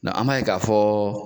an ma ye k'a fɔ